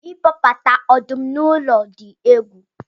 ịkpọbata ọdụm na ụlọ dị egwu